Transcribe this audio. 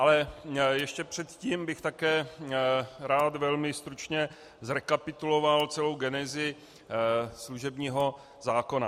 Ale ještě předtím bych také rád velmi stručně zrekapituloval celou genezi služebního zákona.